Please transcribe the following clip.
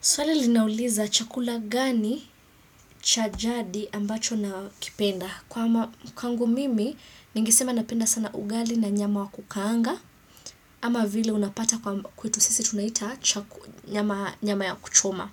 Swali linauliza chakula gani cha jadi ambacho nakipenda. Kwangu mimi, ningesema napenda sana ugali na nyama wa kukaanga, ama vile unapata kwetu sisi tunaita nyama ya kuchoma.